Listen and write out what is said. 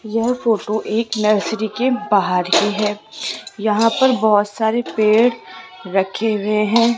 यह फोटो एक नर्सरी के बाहर की है यहां पर बहोत सारे पेड़ रखे हुए हैं।